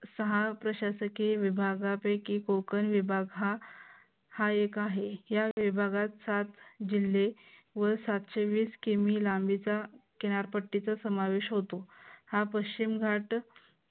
सहा प्रशासकीय विभागापैकी कोकण विभाग हा हा एक आहे. या विभागात सात सात जिल्हे व सातशे वीस किमी लांबीचा किनारपट्टीचा समावेश होतो. हा पश्चिम घाट